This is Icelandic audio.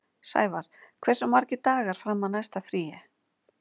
Sævarr, hversu margir dagar fram að næsta fríi?